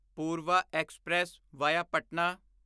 Purva express via Patna